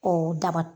O daba